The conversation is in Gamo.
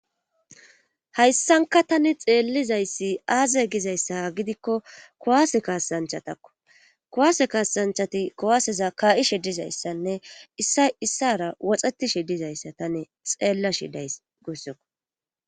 Hayssanka tani xeellizayssi aaze gizayssa gidikko kuwase kaasanchatakko kuwase kaasanchati kuwaseza kaa7ishe dizayssanne issa issara woxetishe dizayssa tane xeella shidays gussoko.